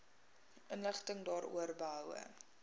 inligting daaroor behoue